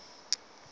nalo ke eli